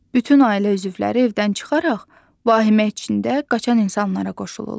Bütün ailə üzvləri evdən çıxaraq vahimə içində qaçan insanlara qoşulurlar.